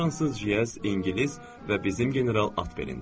Fransız Jeaz, ingilis və bizim general at belində.